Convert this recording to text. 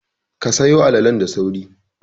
Ka sayo alalalen da sauri!